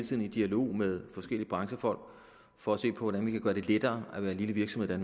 tiden i dialog med forskellige branchefolk for at se på hvordan vi kan gøre det lettere at være en lille virksomhed